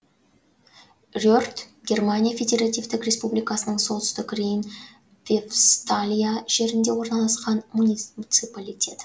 рерт германия федеративтік республикасының солтүстік рейн вефсталия жерінде орналасқан муниципалитет